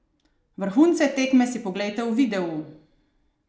Vrhunce tekme si poglejte v videu!